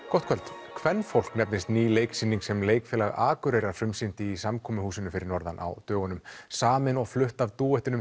gott kvöld kvenfólk nefnist ný leiksýning sem Leikfélag Akureyrar frumsýndi í samkomuhúsinu fyrir norðan á dögunum samin og flutt af